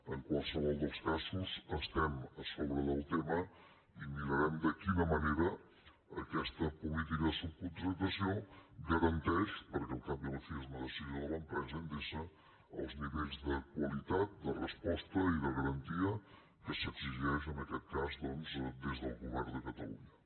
en qualsevol dels casos estem a sobre del tema i mirarem de quina manera aquesta política de subcontractació garanteix perquè al cap i a la fi és una decisió de l’empresa endesa els nivells de qualitat de resposta i de garantia que s’exigeixen en aquest cas doncs des del govern de catalunya